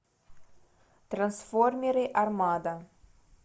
трансформеры армада